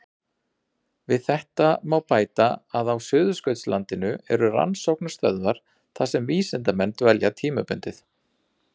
Við þetta má bæta að á Suðurskautslandinu eru rannsóknarstöðvar þar sem vísindamenn dvelja tímabundið.